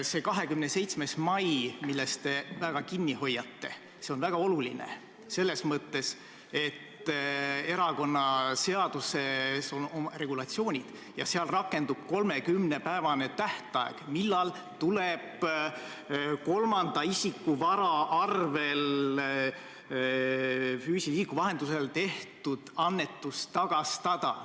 See 27. mai, millest te väga kinni hoiate, on hästi oluline, selles mõttes, et erakonnaseaduses on regulatsioonid ja seal rakendub 30-päevane tähtaeg, mille jooksul tuleb kolmanda isiku vara arvel füüsilise isiku vahendusel tehtud annetus tagastada.